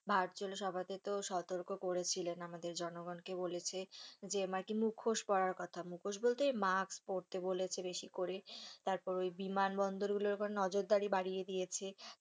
ভারতীয় সভাপিত সতর্ক করেছিলেন আমাদের জনগণকে বলেছে যে আরকি মুখোশ পরার কথা মুখোশ বলতে মাস্ক পরতে বলেছে বেশি করে তারপর ওই বিমান বন্দর গুলির উপর নজর দারি বাড়িয়ে দিয়েছে।